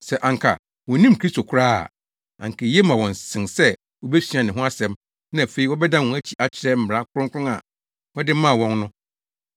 Sɛ anka wonnim Kristo koraa a, anka eye ma wɔn sen sɛ wobesua ne ho nsɛm na afei wɔbɛdan wɔn akyi akyerɛ mmara Kronkron a wɔde maa wɔn no.